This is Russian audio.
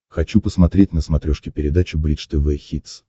хочу посмотреть на смотрешке передачу бридж тв хитс